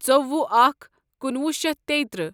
ژوٚوہ اکھ کنُوہ شیتھ تیٚترٕہ